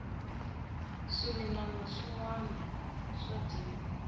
swimilana swinwana swa dyiwa